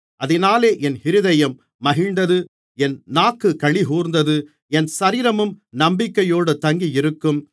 அதினாலே என் இருதயம் மகிழ்ந்தது என் நாக்கு களிகூர்ந்தது என் சரீரமும் நம்பிக்கையோடு தங்கியிருக்கும்